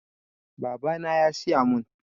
Babana ne ya siya mun